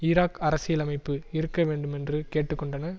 Iraq அரசியலமைப்பு இருக்க வேண்டும் என்று கேட்டு கொண்டன